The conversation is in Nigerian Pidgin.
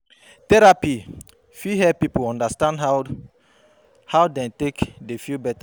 Therapy fit help pipo undastand how how dem take dey feel beta